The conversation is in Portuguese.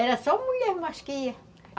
Era só mulher, mas que ia.